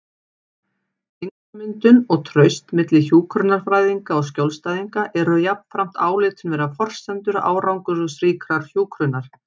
Tengslamyndun og traust milli hjúkrunarfræðinga og skjólstæðinga eru jafnframt álitin vera forsendur árangursríkrar hjúkrunar.